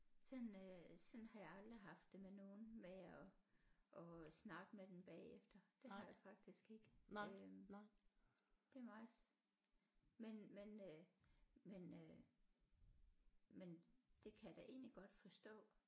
Sådan øh sådan har jeg aldrig haft det med nogen med at at snakke med dem bagefter det har jeg faktisk ikke øh det er meget men men øh men øh men det kan jeg da egentlig godt forstå